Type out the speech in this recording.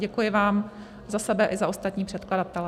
Děkuji vám za sebe i za ostatní předkladatele.